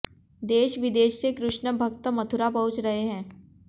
देश विदेश से कृष्ण भक्त मथुरा पहुंच रहे है